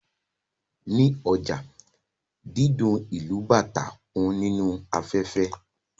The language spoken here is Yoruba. Ní ọjà, dídún ìlù bàtá kún inú afẹ́fẹ́